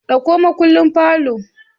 Ɗauko makullin parlour